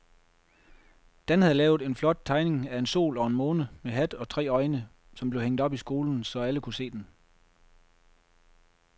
Dan havde lavet en flot tegning af en sol og en måne med hat og tre øjne, som blev hængt op i skolen, så alle kunne se den.